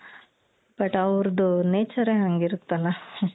but ಆವೃದ್ದು nature ಹಂಗಿರುತ್ತಲ